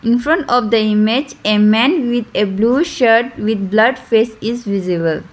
infront of the image a man with a blue shirt with blurred face is visible.